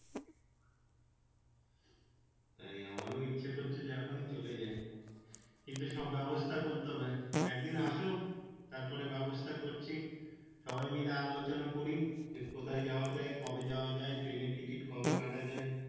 তাই আমরা ইচ্ছে করছে যে এখনই চলে যাই কিন্তু শোন্ ব্যাবস্তা করতে হবে একদিন আসো তারপরে ব্যাবস্তা করছি সবাই মিলে আলো চোনা করি যে কোথায় যাওয়া যাই কবে যাওয়া যাই train এর ticket কবে কাটা যাই